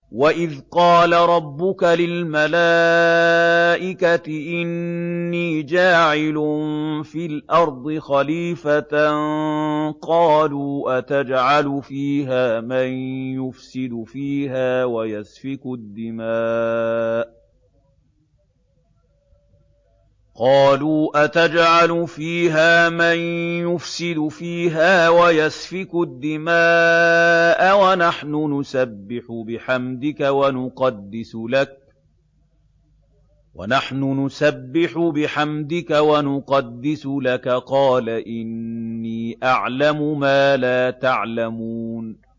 وَإِذْ قَالَ رَبُّكَ لِلْمَلَائِكَةِ إِنِّي جَاعِلٌ فِي الْأَرْضِ خَلِيفَةً ۖ قَالُوا أَتَجْعَلُ فِيهَا مَن يُفْسِدُ فِيهَا وَيَسْفِكُ الدِّمَاءَ وَنَحْنُ نُسَبِّحُ بِحَمْدِكَ وَنُقَدِّسُ لَكَ ۖ قَالَ إِنِّي أَعْلَمُ مَا لَا تَعْلَمُونَ